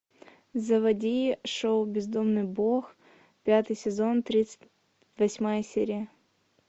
заводи шоу бездомный бог пятый сезон тридцать восьмая серия